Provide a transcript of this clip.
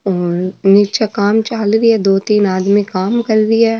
और निचे काम चालरो है दो तीन आदमी काम कर रिया --